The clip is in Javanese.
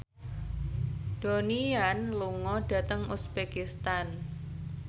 Donnie Yan lunga dhateng uzbekistan